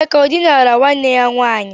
Emeka ọ dinara nwanne ya nwaanyị?